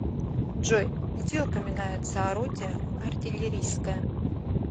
джой где упоминается орудие артиллерийское